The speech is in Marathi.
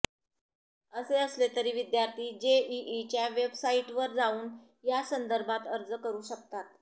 असे असले तरी विद्यार्थी जेईईच्या वेबसाइटवर जाऊन यासंदर्भात अर्ज करु शकतात